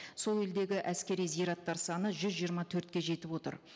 сол елдегі әскери зираттар саны жүз жиырма төртке жетіп отыр